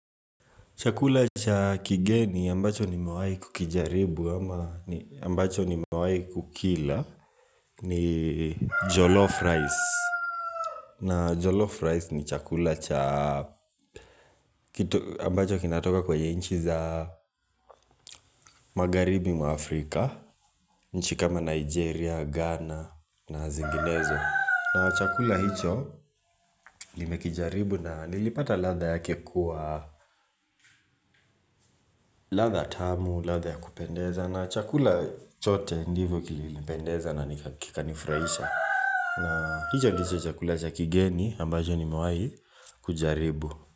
Chakula cha kigeni ambacho nimewai kukijaribu ama ambacho nimewai kukila ni jollof rice. Na jollof rice ni chakula cha ambacho kinatoka kwanye nchi za magharibi mwa Afrika, nchi kama Nigeria, Ghana na zinginezo. Na chakula hicho limekijaribu na nilipata ladha yake kuwa ladha tamu, ladha ya kupendeza na chakula chote ndivyo kilipendeza na nikakanifuraisha. Na hicho ndicho chakula cha kigeni ambacho nimewai kujaribu.